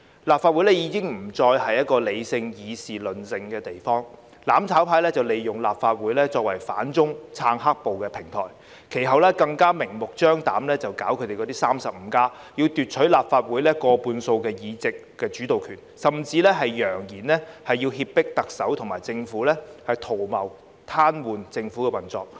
立法會已經不再是一個理性議事論政的地方，"攬炒派"利用立法會作為反中、撐"黑暴"的平台，其後更明目張膽舉辦 "35+"， 要奪取立法會過半數議席，即主導權，甚至揚言要脅迫特首和政府，圖謀癱瘓政府的運作。